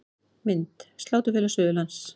Mynd: Sláturfélag Suðurlands